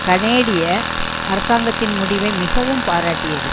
கனேடிய அரசாங்கத்தின் முடிவை மிகவும் பாராட்டியது